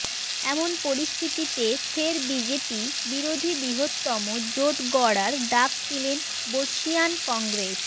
এমন পরিস্থিতিতে ফের বিজেপি বিরোধী বৃহত্তম জোট গড়ার ডাক দিলেন বর্ষীয়ান কংগ্রেস